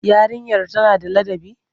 Yarinyar tana da ladabi?